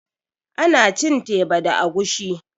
Ana cin teba da agushi